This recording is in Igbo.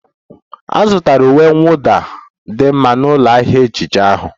A zụtara uwe mwụda a dị mma na ụlọ ahịa ejiji ahụ